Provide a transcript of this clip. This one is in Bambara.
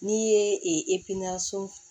N'i ye